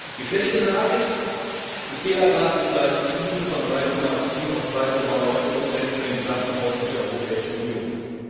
Die schlechte Nachricht Die Fehlerrate ist leicht gestiegen von 3,7 auf 3,9 für den gesamten Haushalt der Europäischen Union.